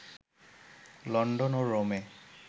London ও রোমে